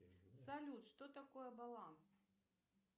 салют что такое баланс